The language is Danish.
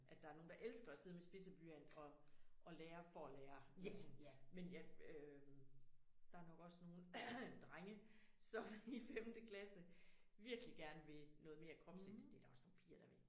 At der er nogen der elsker at sidde med spidset blynat og og lære og at lære men ja øh der er jo nok også nogle drenge som i femte klasse virkelig gerne vil noget mere kropsligt det der også nogle piger der vil